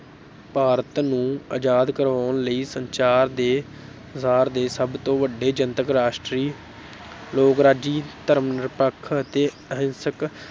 ਭਾਰਤ ਨੂੰ ਆਜ਼ਾਦ ਕਰਵਾਉਣ ਲਈ ਸੰਚਾਰ ਦੇ ਸੰਸਾਰ ਦੇ ਸਭ ਤੋਂ ਵੱਡੇ ਜਨਤਕ ਰਾਸ਼ਟਰੀ ਲੋਕਰਾਜੀ ਧਰਮ ਨਿਰਪੱਖ ਅਤੇ ਅਹਿੰਸਕ